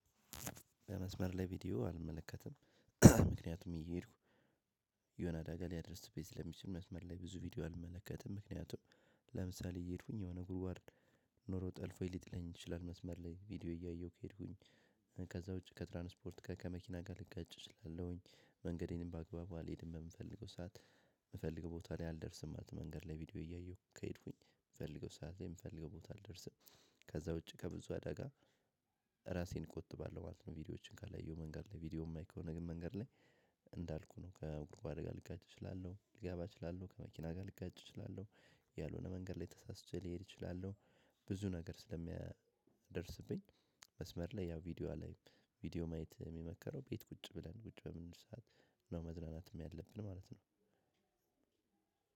በመስመር ላይ ቪዲዮ አልመለከትም። ምክንያቱም እየሄድኩ የሆነ አደጋ ሊያደርስብኝ ስለሚችል መስመር ላይ ብዙ ቪዲዮ አልመለከትም ምከንያቱም ለምሳሌ እየሄድኩኝ የሆነ ጉድጓድ ኖሮ ጠልፎኝ ሊጥለኝ ይችላል። መስመር ላይ ቪዲዮ እያየሁ ከሄድኩኝ ከዛ ውጪ ከትራንስፖርት ጋር ከመኪና ጋር ልጋጭ እችላለሁኝ መንገዴንም በአግባቡ አልሄድም በምፈልገው ሰዓት የምፈልገው ቦታ ላይ አልደርስም ማለት ነው። መንገድ ላይ ቪዲዮ እያየሁ ከሄድኩኝ የምፈልገው ሰዓት ላይ የምፈልገው ቦታ አልደርስም። ከዛ ውጪ ከብዙ አደጋ ራሴን እቆጥባለሁ ማለት ነው። ቪዲዮዎችን ካለየው መንገድ ላይ ቪዲዮ የማይ ከሆነ ግን መንገድ ላይ። እንዳልኩህ ነው ከጉድጓድ ጋር ልጋጭ እችላለሁ ሊገባ እችላለሁ ከመኪና ጋር ልጋጭ እችላለሁ። ያልሆነ መንገድ ላይ ተሳስቼ ልሄድ እችላለሁ። ብዙ ነገር ስለሚደርስብኝ መስመር ላይ ያው ቪዲዮ አላይም። ቪዲዮ ማየት እሚመከረው ቤት ቁጭ ብለን ቁጭ በምንል ሰዓት ነው መዝናናትም ያለብን ማለት ነው።